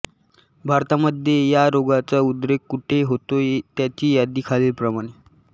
भारतामध्ये या रोगाचा उद्रेक कुठे होतो त्याची यादी खालीलप्रमाणे